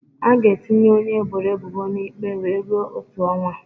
A ga-etinye onye eboro ebubo na ikpe wee rue otu ọnwa